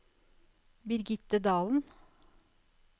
Birgitte Dahlen